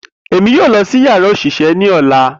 Emi yoo lọ si yara oṣiṣẹ ni ọla.